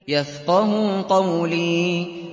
يَفْقَهُوا قَوْلِي